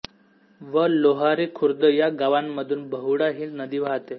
व लोहारी खुर्द या गावांमधून बहुळा हि नदी वाहते